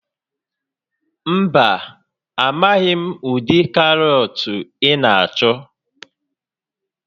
Mba, amaghị m ụdị karọt ị na-achọ